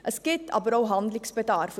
Es gibt aber auch Handlungsbedarf.